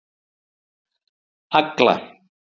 Agla